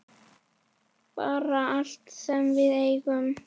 Bara allt sem við eigum.